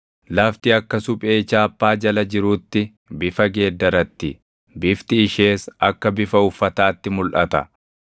Lafti akka suphee chaappaa jala jiruutti bifa geeddaratti; bifti ishees akka bifa uffataatti mulʼata.